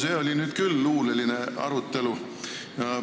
See oli nüüd küll luuleline arutelu.